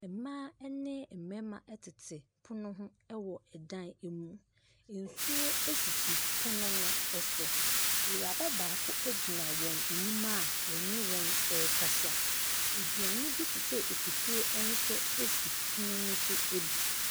Ɛmaa ɛne ɛmɛɛma ɛtete pono ho ɛwɔ ɛdan emu. Ensuo ɛsisi pono no ɛso, Ewuraba baako egyina wɔn anim a wɔne wɔn ɛɛkasa. Aduane bi te sɛ akutuo ɛnso esi pono no so bi.